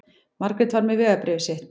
Margrét var með vegabréfið sitt.